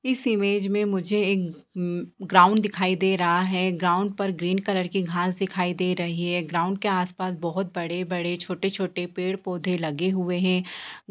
इस इमेज में मुझे एक ग्राउंड दिखाई दे रहा है | ग्राउंड पर ग्रीन कलर के घास दिखायी दे रही है | ग्राउंड के आस पास बहुत बड़े बड़े छोटे छोटे पेड़ पौधे लगे हुए हैं ।